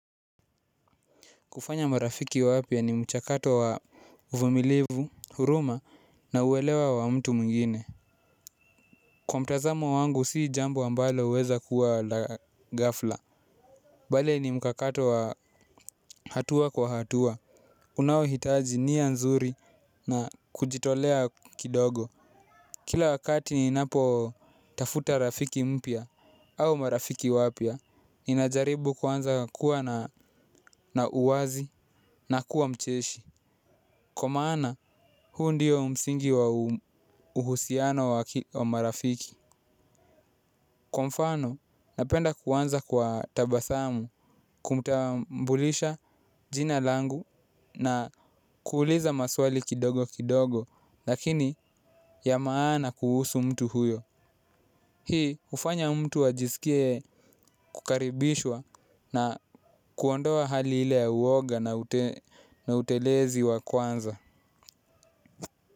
Kufanya marafiki wapya ni mchakato wa uvumilivu, huruma na uelewa wa mtu mwingine. Kwa mtazamo wangu si jambo ambalo huweza kuwa la ghafla bali ni mchakato wa hatua kwa hatua, unaohitaji nia nzuri na kujitolea kidogo. Kila wakati ninapotafuta rafiki mpya au marafiki wapya, ninajaribu kuanza kuwa na uwazi na kuwa mcheshi, kwa maana huu ndio msingi wa uhusiano wa marafiki. Kwa mfano napenda kuanza kwa tabasamu, kumtambulisha jina langu na kuuliza maswali kidogo kidogo lakini ya maana kuhusu mtu huyo. Hii hufanya mtu ajisikie kukaribishwa na kuondoa hali ile ya uwoga na utelezi wa kwanza.